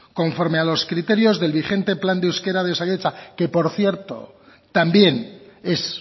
conforme a los criterios del vigente plan de euskera de osakidetza que por cierto también es